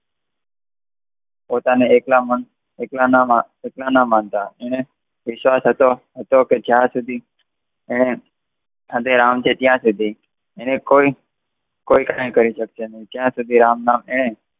પોતાને એકલા મન એકલાના માનતા એને ઈર્ષા થતો હતો કે જ્યાં સુધી એના સાથે રામ છે એને કોઈ કહી શકે નહિ જ્યાં સુધી રામમાં એને